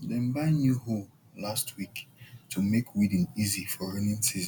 dem buy new hoe last week to make weeding easy for rainy season